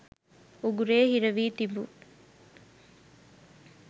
උගුරේ හිරවී තිබූ